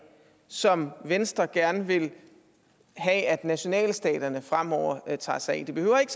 som venstre gerne vil have at nationalstaterne fremover tager sig af det behøver ikke